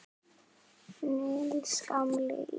Níels gamli í